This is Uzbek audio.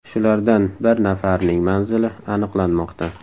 Shulardan bir nafarining manzili aniqlanmoqda.